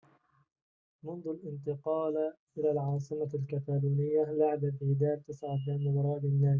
منذ الانتقال إلى العاصمة الكتالونية لعب فيدال 49 مباراة للنادي